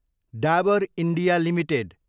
Dabur India Ltd